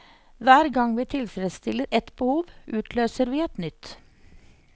Hver gang vi tilfredsstiller ett behov, utløser vi et nytt.